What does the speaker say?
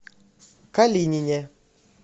калинине